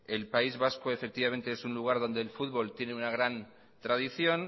el país vasco es un lugar donde el fútbol tiene una gran tradición